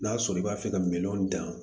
N'a sɔrɔ i b'a fɛ ka minɛnw dan